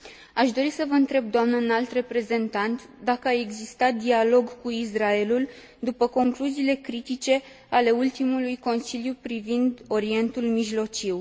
Aș dori să vă întreb, doamnă Înalt Reprezentant, dacă a existat dialog cu Israelul după concluziile critice ale ultimului Consiliu privind Orientul Mijlociu.